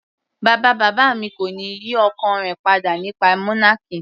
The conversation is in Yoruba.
Bàbá bàbá mi kò ní yí ọkàn rẹ̀ padà nípa monarchy.